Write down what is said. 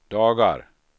dagar